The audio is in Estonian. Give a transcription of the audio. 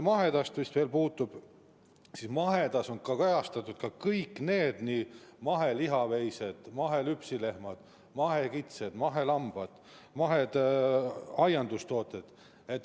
Mahetoodangust on kajastatud veel mahelihaveised, mahelüpsilehmad, mahekitsed, mahelambad, mahedad aiandustooted.